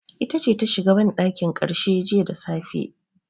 Ita ce ta shiga banɗakin karshe jiya da safe.